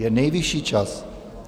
Je nejvyšší čas.